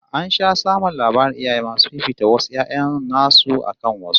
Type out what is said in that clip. An sha samun labarin iyaye masu fifita wasu 'ya'yan nasu akan wasu